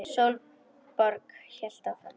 Sólborg hélt áfram.